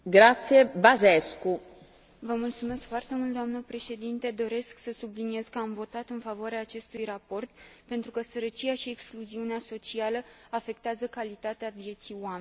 Doresc să subliniez că am votat în favoarea acestui raport, pentru că sărăcia și excluziunea socială afectează calitatea vieții oamenilor.